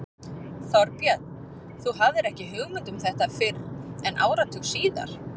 Þorbjörn: Þú hafðir ekki hugmynd um þetta fyrr en áratug síðar?